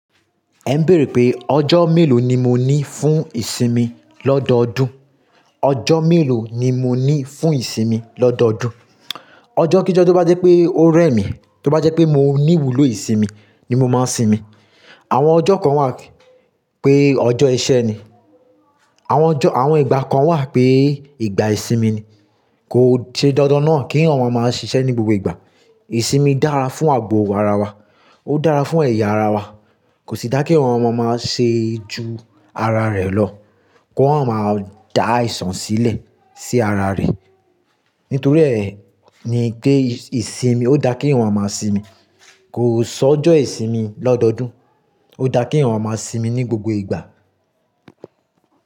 Ẹ ń béèrè pé ọjọ́ mélòó ni mo ní fún ìsinmi lọ́dọọdún? Ọjọ́ mélòó ni mo ní fún ìsinmi lọ́dọọdún? Ọjọ́ kí jọ tó bá jẹ́ pé ó rẹ̀ mí, tó bá jẹ́ pé mo ní ìwúlò ìsinmi ni mo máa ń sinmi. Àwọn ọjọ́ kan wà pé ọjọ́ iṣẹ́ ni, àwọn ọjọ́, àwọn ìgbà kan wà pé ìgbà ìsinmi ni. Kò ṣe dandan náà kí èèyàn waa máa ṣiṣẹ́ ní gbogbo ìgbà. Ìsinmi dára fún ààbò ara wa, ó dára fún ẹ̀yà ara wa. Kò sí dá kí èèyàn waa maa máa ṣe ju ara rẹ̀ lọ, kí wọ́n máa dá àìsàn sílẹ̀ sí ara rẹ̀. Nítorí ẹ ní pé ìsinmi, ó dá kí èèyàn maa maa sinmi. Kò sọ ọjọ́ ìsinmi lọ́dọọdún, ó dá kí àwọn ọmọ sinmi ní gbogbo ìgbà.